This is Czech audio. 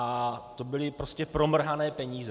A to byly prostě promrhané peníze.